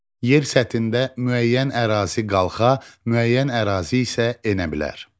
Yer səthində müəyyən ərazi qalxa, müəyyən ərazi isə enə bilər.